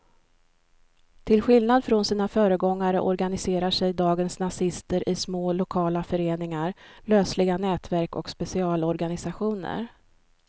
Till skillnad från sina föregångare organiserar sig dagens nazister i små lokala föreningar, lösliga nätverk och specialorganisationer.